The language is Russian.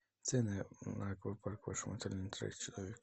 цены на аквапарк в вашем отеле на троих человек